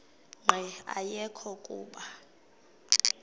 nqe ayekho kuba